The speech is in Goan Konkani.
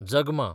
जगमां